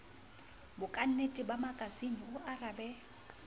bokantle ba makasine o arabe